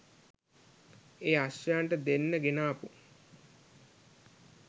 ඒ අශ්වයන්ට දෙන්න ගෙනාපු